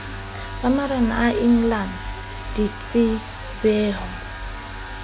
ba marena a engelane ditsebengho